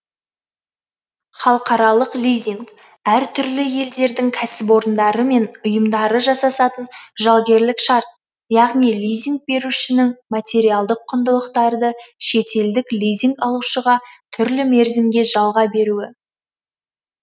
халықаралық лизинг әр түрлі елдердің кәсіпорындары мен ұйымдары жасасатын жалгерлік шарт яғни лизинг берушінің материалдық құндылықтарды шетелдік лизинг алушыға түрлі мерзімге жалға беруі